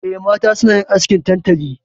Eh, mata suna yin askin tantali.